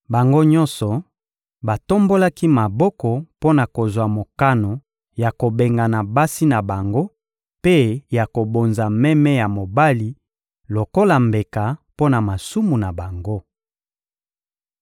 Bango nyonso batombolaki maboko mpo na kozwa mokano ya kobengana basi na bango mpe ya kobonza meme ya mobali lokola mbeka mpo na masumu na bango.